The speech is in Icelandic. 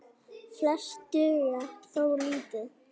Flest duga þó lítið.